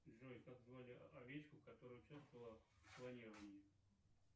джой как звали овечку которая участвовала в клонировании